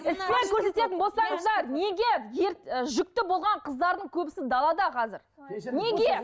іспен көрсететін болсаңыздар неге і жүкті болған қыздардың көбісі неге далада қазір неге